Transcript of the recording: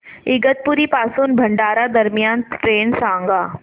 इगतपुरी पासून भंडारा दरम्यान ट्रेन सांगा